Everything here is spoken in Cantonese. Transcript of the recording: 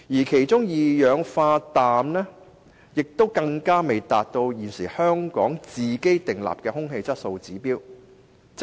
其中，路邊二氧化氮的濃度更未達到香港現時的空氣質素指標。